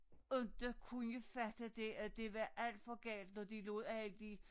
Inte kunne fatte det at det var alt for galt når de lod alle de